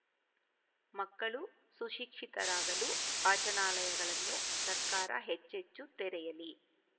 ಮಕ್ಕಳು ಸುಶಿಕ್ಷಿತರಾಗಲು ವಾಚನಾಲಯಗಳನ್ನು ಸರ್ಕಾರ ಹೆಚ್ಚೆಚ್ಚು ತೆರೆಯಲಿ